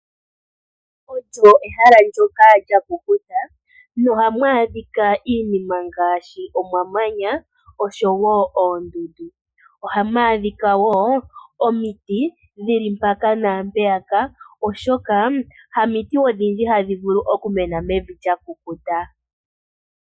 Olyo ehala ndoka lya kukuta nohamu adhika iinima ngaashi omamanya oshowo oondundu. Ohamu adhika wo omiti dhi li mpaka naampeyaka, oshoka hamiti odhindji hadhi vulu okumena mevi lya kukuta.